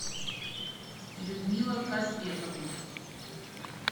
людмила казбековна